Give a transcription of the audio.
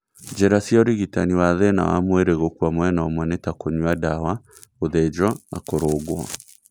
Njĩra cia ũrigitani wathĩna wa mwĩrĩ gũkua mwena ũmwe nĩ ta kũnyua ndawa, gũthĩnjwo na kũrũngwo